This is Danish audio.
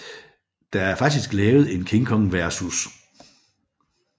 Der er faktisk lavet en King Kong vs